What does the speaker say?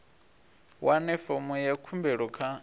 wane fomo ya khumbelo kha